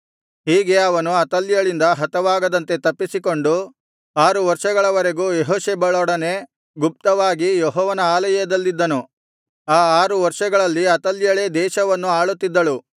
ಹೀಗೆ ಅವನು ಅತಲ್ಯಳಿಂದ ಹತವಾಗದಂತೆ ತಪ್ಪಿಸಿ ಕೊಂಡು ಆರು ವರ್ಷಗಳವರೆಗೂ ಯೆಹೋಷೆಬಳೊಡನೆ ಗುಪ್ತವಾಗಿ ಯೆಹೋವನ ಆಲಯದಲ್ಲಿದ್ದನು ಆ ಆರು ವರ್ಷಗಳಲ್ಲಿ ಅತಲ್ಯಳೇ ದೇಶವನ್ನು ಆಳುತ್ತಿದ್ದಳು